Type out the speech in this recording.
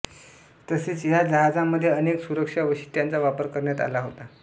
तसेच ह्या जहाजामध्ये अनेक सुरक्षा वैशिष्ट्यांचा वापर करण्यात आला होता